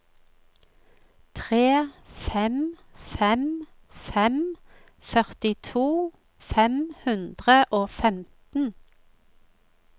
tre fem fem fem førtito fem hundre og femten